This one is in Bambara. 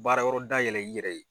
Baara yɔrɔ dayɛlɛ i yɛrɛ ye